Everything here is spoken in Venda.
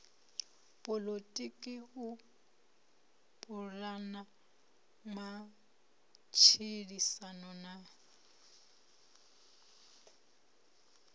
poḽotiki u pulana matshilisano na